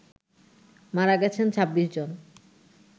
মারা গেছেন ২৬ জন